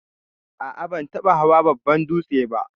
A'a ban taba hawan babban dūtse ba.